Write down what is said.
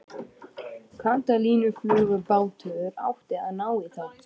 Katalínuflugbátur átti að ná í þá.